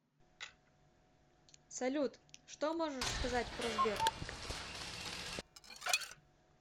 салют что можешь сказать про сбер